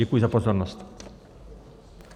Děkuji za pozornost.